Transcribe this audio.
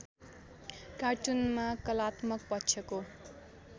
कार्टुनमा कलात्मक पक्षको